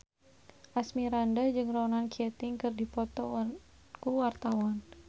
Asmirandah jeung Ronan Keating keur dipoto ku wartawan